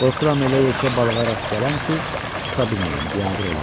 Qorxuram elə yekə balığa rast gələm ki, tuta bilməyəm, biabır olam.